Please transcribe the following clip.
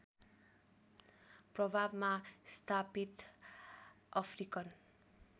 प्रभावमा स्थापित अफ्रिकन